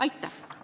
Aitäh!